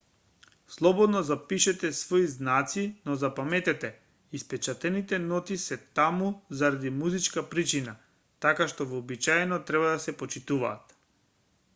слободно запишете свои знаци но запаметете испечатените ноти се таму заради музичка причина така што вообичаено треба да се почитуваат